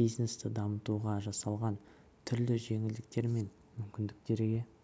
бизнесті дамытуға жасалған түрлі жеңілдіктер мен мүмкіндіктерге